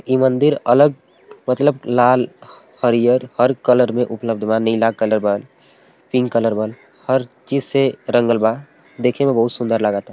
इ मंदिर अलग मतलब लाल हरिअर हर कलर में उपलब्ध बा नीला कलर बा पिंक कलर बा हर चीज से रंगल बा देखे में बहुत सूंदर लागता।